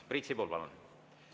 Priit Sibul, palun!